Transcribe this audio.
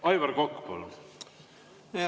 Aivar Kokk, palun!